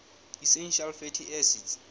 essential fatty acids